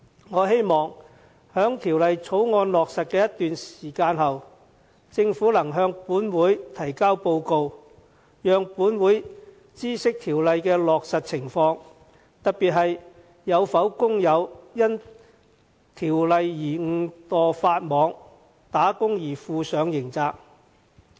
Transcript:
我希望在《條例草案》落實一段時間後，政府可以向本會提交報告，讓本會知悉落實有關規定的情況，特別是有否工友因而誤墮法網，打工而負上刑責。